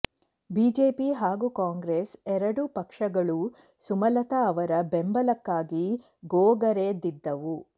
BJP ಹಾಗೂ ಕಾಂಗ್ರೆಸ್ ಎರಡೂ ಪಕ್ಷಗಳೂ ಸುಮಲತಾ ಅವರ ಬೆಂಬಲಕ್ಕಾಗಿ ಗೋಗರೆದಿದ್ದವು